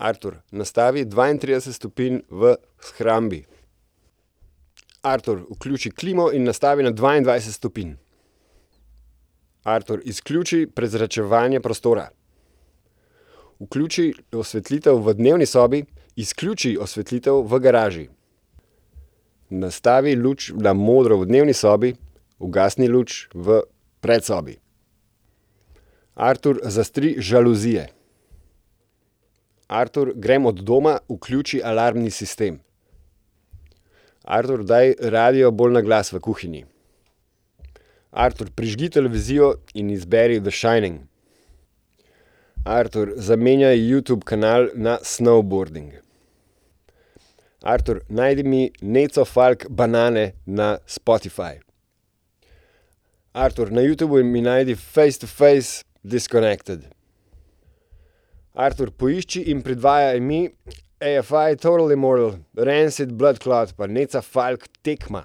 Artur, nastavi dvaintrideset stopinj v shrambi. Artur, vključi klimo in nastavi na dvaindvajset stopinj. Artur, izključi prezračevanje prostora. Vključi osvetlitev v dnevni sobi. Izključi osvetlitev v garaži. Nastavi luč na modro v dnevni sobi. Ugasni luč v predsobi. Artur, zastri žaluzije. Artur, grem od doma. Vključi alarmni sistem. Artur, daj radio bolj na glas v kuhinji. Artur, prižgi televizijo in izberi The shining. Artur, zamenjaj Youtube kanal na Snowboarding. Artur, najdi mi Neco Falk Banane na Spotify. Artur, na Youtubu mi najdi Face To Face, Disconnected. Artur, poišči in predvajaj mi Eyefy Toddely mordel, Rancid Blood clot pa Neca Falk Tekma.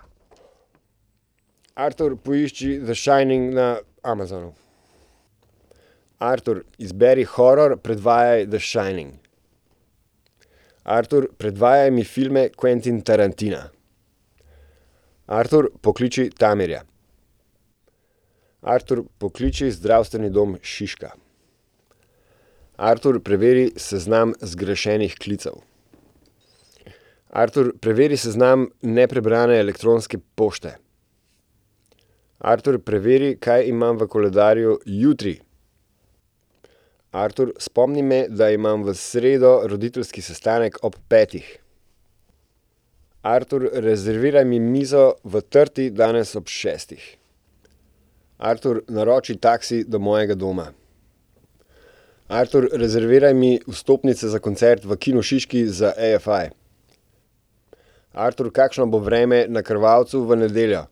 Artur, poišči The shining na Amazonu. Artur, izberi horror, predvajaj The shining. Artur, predvajaj mi filme Quentina Tarantina. Artur, pokliči Damirja. Artur, pokliči Zdravstveni dom Šiška. Artur, preveri seznam zgrešenih klicev. Artur, preveri seznam neprebrane elektronske pošte. Artur, preveri, kaj imam v koledarju jutri. Artur, spomni me, da imam v sredo roditeljski sestanek ob petih. Artur, rezerviraj mi mizo v Trti danes ob šestih. Artur, naroči taksi do mojega doma. Artur, rezerviraj mi vstopnice za koncert v Kinu Šiški za Eyefy. Artur, kakšno bo vreme na Krvavcu v nedeljo?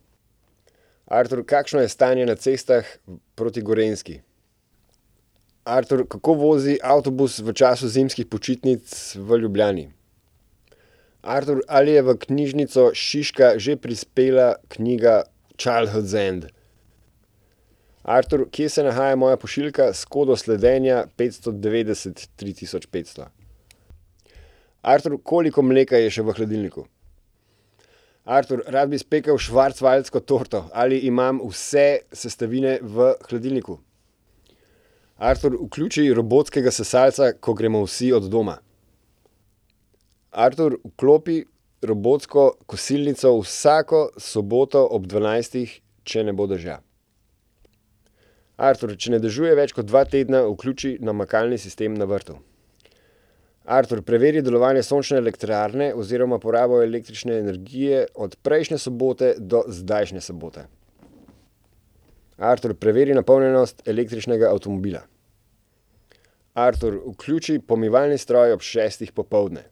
Artur, kakšno je stanje na cestah proti Gorenjski? Artur, kako vozi avtobus v času zimskih počitnic v Ljubljani? Artur, ali je v Knjižnico Šiška že prispela knjiga Childhood zen? Artur, kje se nahaja moja pošiljka s kodo sledenja petsto devetdeset tri tisoč petsto? Artur, koliko mleka je še v hladilniku? Artur, rad bi spekel schwarzwaldsko torto. Ali imam vse sestavine v hladilniku? Artur, vključi robotskega sesalca, ko gremo vsi od doma. Artur, vklopi robotsko kosilnico vsako soboto ob dvanajstih, če ne bo dežja. Artur, če ne dežuje več kot dva tedna, vključi namakalni sistem na vrtu. Artur, preveri delovanje sončne elektrarne oziroma porabo električne energije od prejšnje sobote do zdajšnje sobote. Artur, preveri napolnjenost električnega avtomobila. Artur, vključi pomivalni stroj ob šestih popoldne.